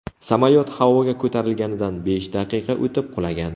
Samolyot havoga ko‘tarilganidan besh daqiqa o‘tib qulagan.